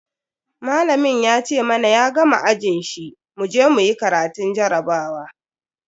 Malamin ya ce mana ya gama ajin shi muje muyi karatun jarabawa.